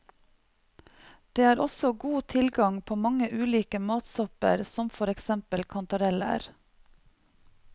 Det er også god tilgang på mange ulike matsopper som for eksempel kantareller.